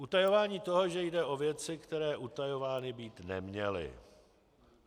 Utajování toho, že jde o věci, které utajovány být neměly.